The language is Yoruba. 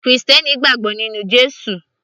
krìstẹ́nì gbàgbọ́ nínú Jésù